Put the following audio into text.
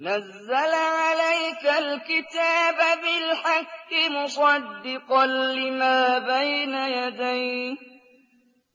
نَزَّلَ عَلَيْكَ الْكِتَابَ بِالْحَقِّ مُصَدِّقًا لِّمَا بَيْنَ يَدَيْهِ